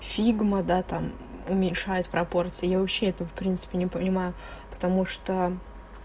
фигма да там уменьшает пропорция я вообще это в принципе не понимаю потому что